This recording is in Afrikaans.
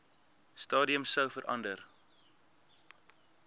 stadium sou verander